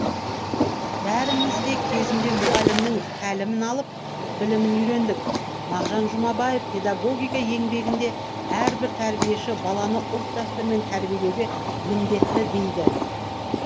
бәріміз де кезінде мұғалімнің тәлімін алып білімін үйрендік мағжан жұмабаев педагогика еңбегінде әрбір тәрбиеші баланы ұлт дәстүрімен тәрбиелеуге міндетті дейді